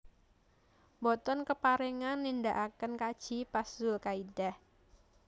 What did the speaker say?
Mboten kaparengan nindaaken kaji pas zulkaidah